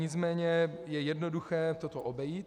Nicméně je jednoduché toto obejít.